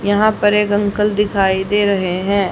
यहां पर एक अंकल दिखाई दे रहे हैं।